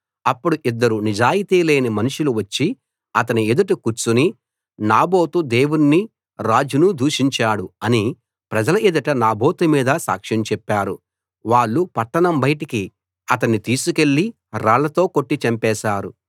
అప్పుడు ఇద్దరు నిజాయితీ లేని మనుషులు వచ్చి అతని ఎదుట కూర్చుని నాబోతు దేవుణ్ణీ రాజునూ దూషించాడు అని ప్రజల ఎదుట నాబోతు మీద సాక్ష్యం చెప్పారు వాళ్ళు పట్టణం బయటికి అతన్ని తీసికెళ్లి రాళ్లతో కొట్టి చంపేశారు